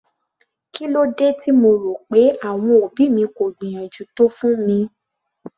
Kílódé tí mo rò pé àwọn òbí mi kò gbìyànjú tó fún mi?